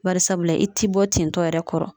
Bari sabula i ti bɔ tintɔ yɛrɛ kɔrɔ